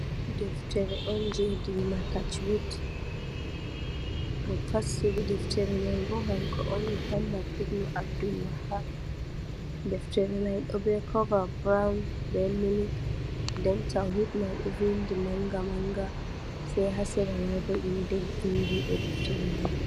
Deftere on je dina tajwid. Mo fassiri deftereman kanko on Muhammad Ibn Abdulwahab. Deftere mai ɗobe kovaa buroun be milik, Nden tawhid mai ɗo vindi manga manga, Sai ha seramai bo inde vindi ɗo deftere mai.